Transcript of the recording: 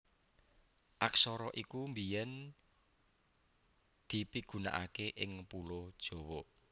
Aksara iki biyèn dipigunakaké ing Pulo Jawa